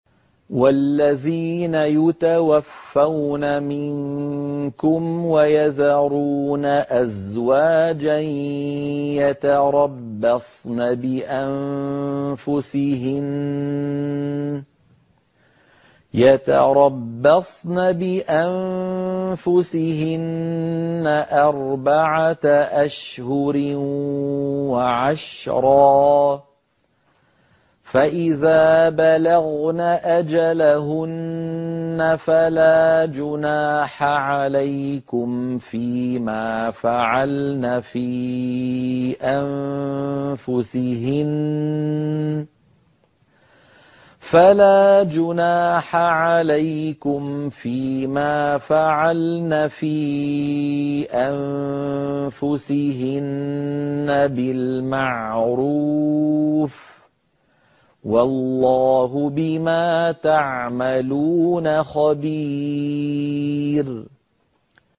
وَالَّذِينَ يُتَوَفَّوْنَ مِنكُمْ وَيَذَرُونَ أَزْوَاجًا يَتَرَبَّصْنَ بِأَنفُسِهِنَّ أَرْبَعَةَ أَشْهُرٍ وَعَشْرًا ۖ فَإِذَا بَلَغْنَ أَجَلَهُنَّ فَلَا جُنَاحَ عَلَيْكُمْ فِيمَا فَعَلْنَ فِي أَنفُسِهِنَّ بِالْمَعْرُوفِ ۗ وَاللَّهُ بِمَا تَعْمَلُونَ خَبِيرٌ